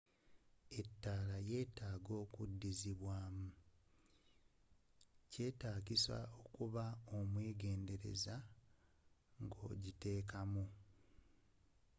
etaala yyetaga odizibwamu.kyetagisa okuba omwegendereza nga ogiteka mu